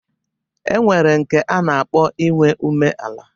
E nwere nke nke a na-akpọ inwe umeala